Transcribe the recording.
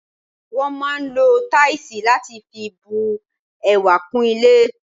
Wọ́n máà ń lo táìsì láti fi bu ẹwà kún ilé.